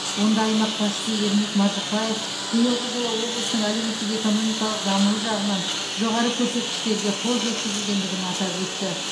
онда аймақ басшысы ермек маржықпаев биылғы жылы облыстың әлеуметтік экономикалық дамуы жағынан жоғары көрсеткіштерге қол жеткізілгендігін атап өтті